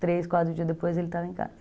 Três, quatro dias depois ele estava em casa.